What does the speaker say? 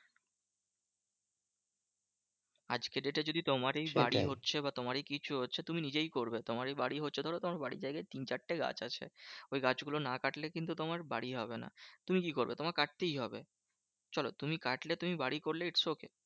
আজকে date এ যদি তোমারই বাড়ি হচ্ছে বা তোমারই কিছু হচ্ছে তুমি নিজেই করবে। তোমারই বাড়ি হচ্ছে ধরো তোমার বাড়ির জায়গায় তিন চারটে গাছ আছে ওই গাছগুলো না কাটলে কিন্তু তোমার বাড়ি হবে না। তুমি কি করবে? তোমাকে কাটতেই হবে। চলো তুমি কাটলে তুমি বাড়ি করলে its okay